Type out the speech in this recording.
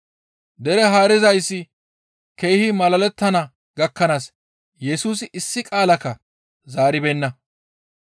Dere haarizayssi keehi malalettana gakkanaas Yesusi issi qaalakka zaaribeenna.